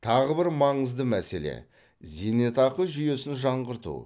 тағы бір маңызды мәселе зейнетақы жүйесін жаңғырту